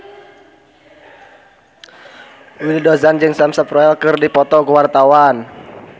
Willy Dozan jeung Sam Spruell keur dipoto ku wartawan